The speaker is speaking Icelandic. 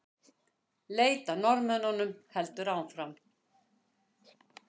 Leit að Norðmönnunum heldur áfram